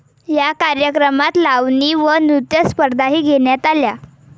या कार्यक्रमात लावणी व नृत्यस्पर्धाही घेण्यात आल्या.